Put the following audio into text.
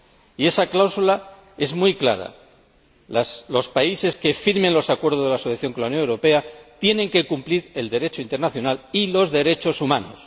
Y esa cláusula es muy clara los países que firmen los Acuerdos de asociación con la Unión Europea tienen que cumplir el Derecho internacional y los derechos humanos.